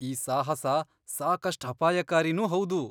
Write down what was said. ಈ ಸಾಹಸ ಸಾಕಷ್ಟ್ ಅಪಾಯಕಾರಿನೂ ಹೌದು.